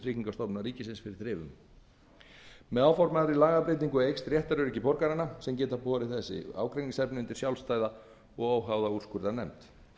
tryggingastofnunar ríkisins fyrir þrifum með áformaðri lagabreytingu eykst réttaröryggi borgaranna sem geta borið þessi ágreiningsefni undir sjálfstæða og óháða úrskurðarnefnd